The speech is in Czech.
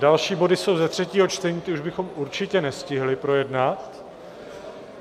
Další body jsou ze třetího čtení, ty už bychom určitě nestihli projednat.